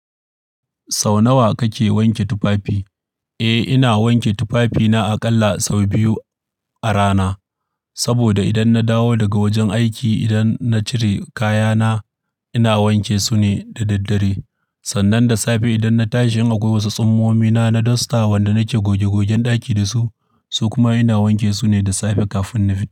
Sau nawa kake wanke tufafi? Eh, ina wanke tufafina aƙalla sau biyu a rana. Saboda idan na dawo daga wajen aiki, idan na cire kayana, ina wanke sune da daddare. Sannan da safe idan na tashi in a kwai wasu tsumomina na dosta wanda nake goge gogen ɗaki da su, su kuma ina wanke su ne da safe kafin na fita.